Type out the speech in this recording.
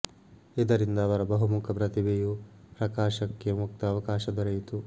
ಇದರಿಂದ ಅವರ ಬಹುಮುಖ ಪ್ರತಿಭೆಯು ಪ್ರಕಾಶಕ್ಕೆ ಮುಕ್ತ ಅವಕಾಶ ದೊರೆಯಿತು